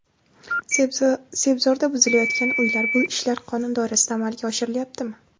Sebzorda buzilayotgan uylar: bu ishlar qonun doirasida amalga oshirilyaptimi?.